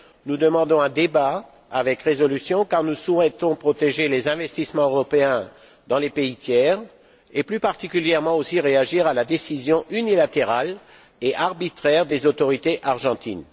Nous demandons un débat avec résolution car nous souhaitons protéger les investissements européens dans les pays tiers et, plus particulièrement, réagir à la décision unilatérale et arbitraire des autorités argentines.